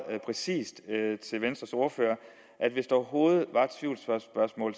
præcist til venstres ordfører at hvis der overhovedet